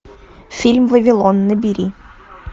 фильм вавилон набери